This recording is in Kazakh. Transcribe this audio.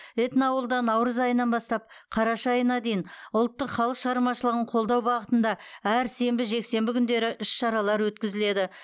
этноауылда наурыз айынан бастап қараша айына дейін ұлттық халық шығармашылығын қолдау бағытында әр сенбі жексенбі күндері іс шаралар өткізіледі